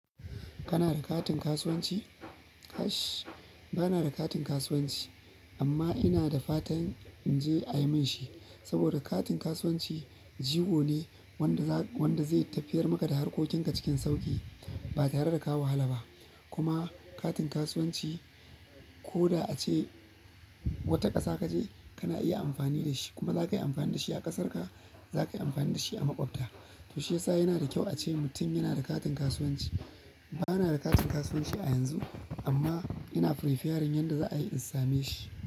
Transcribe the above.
Kana da katin kasuwanci? Kash ba na da katin kasuwanci amma ina da fatan in je a yi min shi. Saboda katin kasuwanci jigo ne wanda zai tafiyar maka da harkokinka cikin sauƙi ba tare da ka wahala ba. Kuma katin kasuwanci ko da a ce wata ƙasa ka je, kana iya amfani da shi. Kuma za ka yi amfani da shi a ƙasar ka, za ka yi amfani da shi a maƙwabta. To shiyasa yana da kyau a ce mutum yana da katin kasuwanci. Ba na da katin kasuwanci a yanzu amma ina preparing yadda za a yi in same shi.